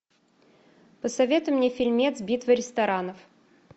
посоветуй мне фильмец битва ресторанов